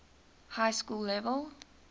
high school level